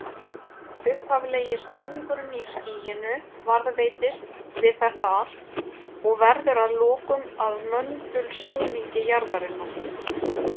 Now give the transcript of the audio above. Upphaflegi snúningurinn í skýinu varðveitist við þetta allt og verður að lokum að möndulsnúningi jarðarinnar.